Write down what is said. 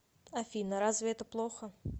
афина разве это плохо